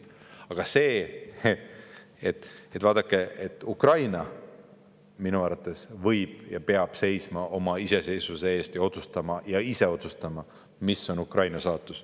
Aga vaadake, minu arvates Ukraina võib seista ja peabki seisma oma iseseisvuse eest ja ise otsustama, mis on Ukraina saatus.